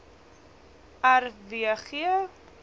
r w g